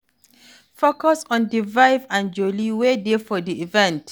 Focus on di vibe and jolly wey dey for di event